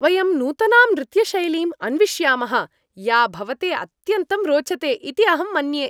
वयं नूतनां नृत्यशैलीम् अन्विष्यामः या भवते अत्यन्तं रोचते इति अहं मन्ये।